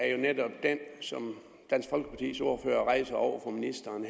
er jo netop den som dansk folkepartis ordfører rejser over for ministeren